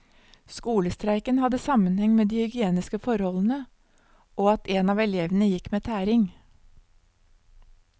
Skolestreiken hadde sammenheng med de hygieniske forholdene, og at en av elevene gikk med tæring.